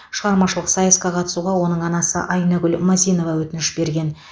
шығармашылық сайысқа қатысуға оның анасы айнагүл мазинова өтініш берген